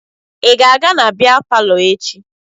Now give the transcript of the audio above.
Ị ga-aga na bịa palọ echi?